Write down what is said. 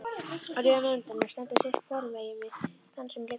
Röð af nemendum stendur sitt hvorumegin við þann sem liggur.